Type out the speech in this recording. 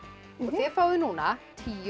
þið fáið núna tíu